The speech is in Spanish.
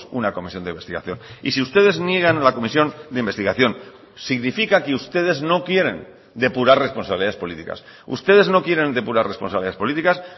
una comisión de investigación y si ustedes niegan a la comisión de investigación significa que ustedes no quieren depurar responsabilidades políticas ustedes no quieren depurar responsabilidades políticas